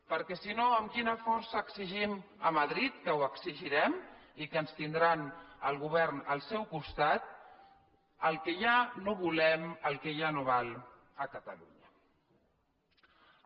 perquè si no amb quina força exigim a madrid que ho exigirem i que ens tindrà el govern al seu costat el que ja no volem el que ja no val a catalunya